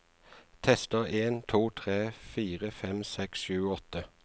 Tester en to tre fire fem seks sju åtte